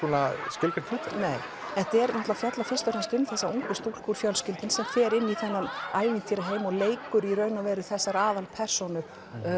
skilgreint hlutverk nei þetta fjallar fyrst og fremst um þessa ungu stúlku sem fer inn í þennan ævintýraheim og leikur í raun og veru þessar aðalpersónur